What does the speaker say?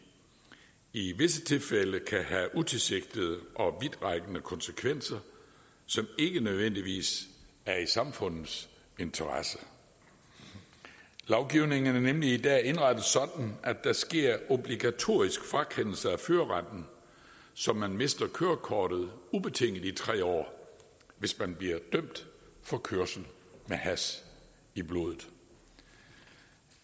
i visse tilfælde kan have utilsigtede og vidtrækkende konsekvenser som ikke nødvendigvis er i samfundets interesse lovgivningen er nemlig i dag indrettet sådan at der sker obligatorisk frakendelse af førerretten så man mister kørekortet ubetinget i tre år hvis man bliver dømt for kørsel med hash i blodet